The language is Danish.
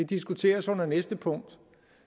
diskuteres under næste punkt